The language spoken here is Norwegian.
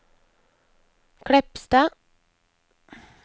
Kleppstad